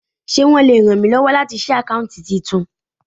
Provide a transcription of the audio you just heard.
Ṣé wọn le ràn mí lọ́wọ́ láti ṣí àkáùntì titun?